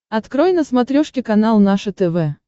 открой на смотрешке канал наше тв